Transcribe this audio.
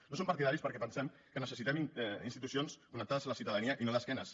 no en som partidaris perquè pensem que necessitem institucions connectades a la ciutadania i no d’esquena